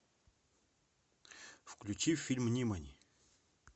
включи фильм нимани